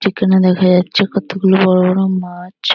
Chicken ও দেখা যাচ্ছে কতগুলো বড় বড় মাছ।